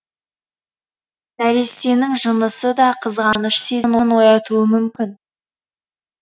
нәрестенің жынысы да қызғаныш сезімін оятуы мүмкін